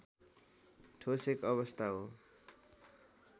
ठोस एक अवस्था हो